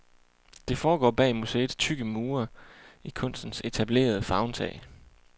Det foregår bag museets tykke mure, i kunstens etablerede favntag.